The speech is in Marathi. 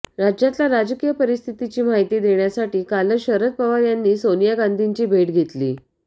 राज्यातल्या राजकीय परिस्थितीची माहिती देण्यासाठी कालच शरद पवार यांनी सोनिया गांधींची भेट घेतली